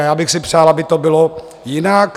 A já bych si přál, aby to bylo jinak.